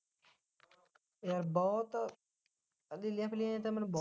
ਇਹ ਬਹੁਤ ਆਹ ਨੀਲੀਆਂ ਪੀਲੀਆਂ ਜਿਹੀਆਂ ਤਾਂ ਮੈਨੂੰ ਬਹੁਤ